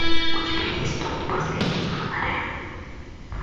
у тебя есть дом у последнего фонаря